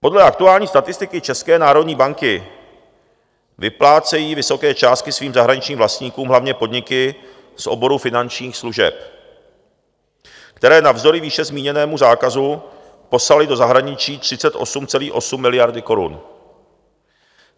Podle aktuální statistiky České národní banky vyplácejí vysoké částky svým zahraničním vlastníkům hlavně podniky z oboru finančních služeb, které navzdory výše zmíněnému zákazu poslaly do zahraničí 38,8 miliardy korun.